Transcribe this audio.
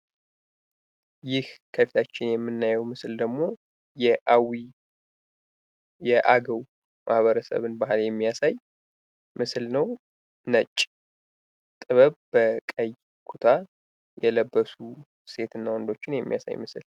ይህ ከፊታችን የምናየዉ ምስል ደግሞ የአዊ የአገዉ ማህበረሰብን ባህል የሚያሳይ ምስል ነዉ። ነጭ ጥበብ በቀይ ኩታ የለበሱ ሴት እና ወንዶችን የሚያሳይ ምስል።